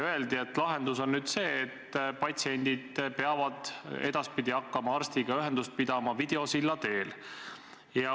Öeldi, et lahendus on nüüd see, et patsiendid peavad edaspidi hakkama arstiga ühendust pidama videosilla teel.